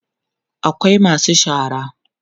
akwai masu shara